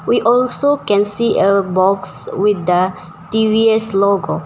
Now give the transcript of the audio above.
We also can see a box with the T_V_S logo.